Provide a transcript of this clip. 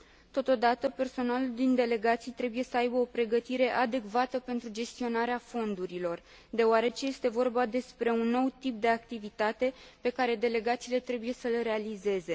Totodată, personalul din delegații trebuie să aibă o pregătire adecvată pentru gestionarea fondurilor, deoarece este vorba despre un nou tip de activitate pe care delegațiile trebuie să îl realizeze.